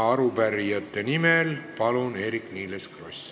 Arupärijate nimel Eerik-Niiles Kross, palun!